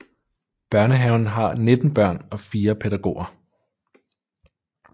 Børnehaven har 19 børn og 4 pædagoger